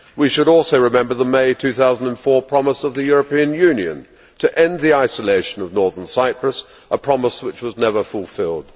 We should also remember the May 2004 promise of the European Union to end the isolation of Northern Cyprus, a promise which was never fulfilled.